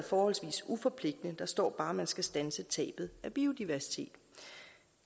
forholdsvis uforpligtende der står bare at man skal standse tabet af biodiversitet